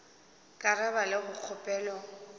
ka ra ba le kgopelo